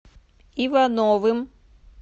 ивановым